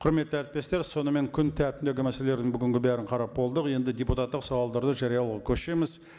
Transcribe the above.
құрметті әріптестер сонымен күн тәртібіндегі мәселелердің бүгінгі бәрін қарап болдық енді депутаттық сауалдарды жариялауға көшеміз